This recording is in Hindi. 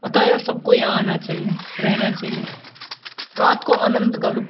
अतः सबको यहाँ आना चाहिए रहना चाहिए रात को आनंद का लुप्त --